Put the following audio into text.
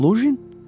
Luqin?